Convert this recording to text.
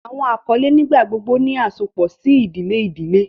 Awọn akọle nigbagbogbo ni asopọ si idile idile.